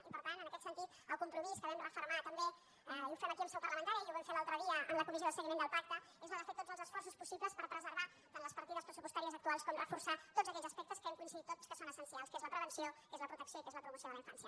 i per tant en aquest sentit el compromís que vam refermar també i ho fem aquí en seu parlamentària i ho vam fer l’altre dia en la comissió de seguiment del pacte és el de fer tots els esforços possibles per preservar tant les partides pressupostàries actuals com reforçar tots aquells aspectes que hem coincidit tots que són essencials que és la prevenció que és la protecció i que és la promoció de la infància